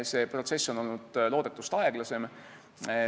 See protsess on olnud loodetust aeglasem.